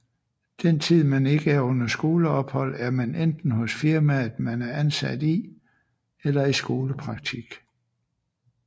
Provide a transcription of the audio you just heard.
Den tid man ikke er under skoleophold er man enten hos firmaet man er ansat i eller i skolepraktik